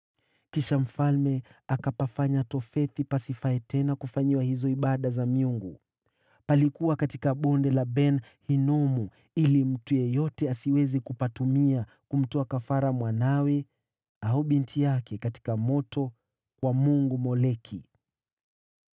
Kisha mfalme akanajisi Tofethi, palipokuwa katika Bonde la Ben-Hinomu, ili mtu yeyote asiweze kupatumia kumtoa kafara mwanawe au binti yake katika moto kwa mungu Moleki.